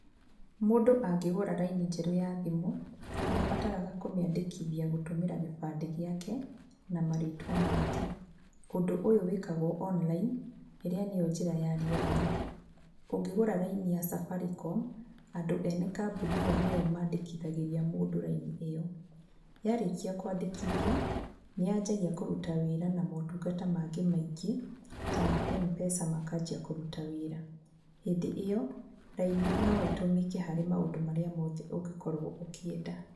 Mũndũ angĩgũra raini njerũ ya thimũ, nĩabataraga kũmĩandĩkithia gũtũmĩra gĩbandĩ gĩake na marĩtwa make, ũndũ ũyũ wĩkagwo online, ĩrĩa nĩ yo njĩra ya rĩera-inĩ. Ũngĩgũra raini ya safaricom, andũ ene kambuni ĩyo nĩ o mandĩkĩthagĩria mũndũ raini ĩyo, yarĩkia kwandĩkithio nĩ ya njagĩrĩria kũruta wĩra na motungata mangĩ maingĩ, ta ma Mpesa makambia kũruta wĩra, hĩndĩ ĩyo raini no ĩtũmĩke harĩ maũndũ marĩa mothe ũngĩkorwo ũkĩenda.